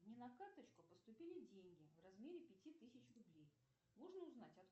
мне на карточку поступили деньги в размере пяти тысяч рублей можно узнать